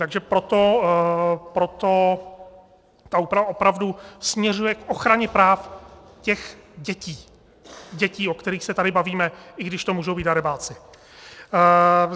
Takže proto ta úprava opravdu směřuje k ochraně práv těch dětí, dětí, o kterých se tady bavíme, i když to můžou být darebáci.